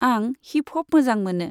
आं hip hop मोजां मोनो।